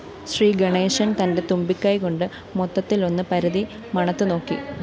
ശ്രീഗണേശന്‍ തന്റെ തുമ്പിക്കൈകൊണ്ട് മൊത്തത്തിലൊന്ന് പരതി മണത്തുനോക്കി